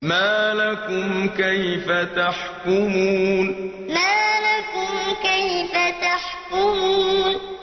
مَا لَكُمْ كَيْفَ تَحْكُمُونَ مَا لَكُمْ كَيْفَ تَحْكُمُونَ